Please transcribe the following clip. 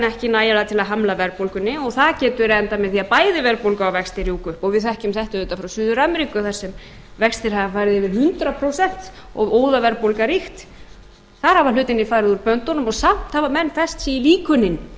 ekki nægilega til að hamla verðbólgunni og það getur endað með því að bæði verðbólga og vextir rjúka upp við þekkjum þetta auðvitað frá suður ameríku þar sem vextir hafa farið yfir hundrað prósent og óðaverðbólga ríkt þar hafa hlutirnir farið úr böndunum en samt hafa menn fest sig í líkönin